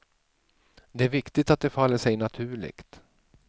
Det är viktigt att det faller sig naturligt.